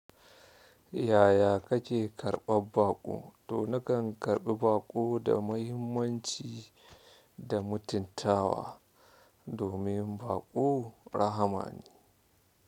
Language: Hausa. Yaya kake karɓar baƙo? To na kan karɓi baƙo da muhimmanci da mutuntawa domin baƙo rahma ne.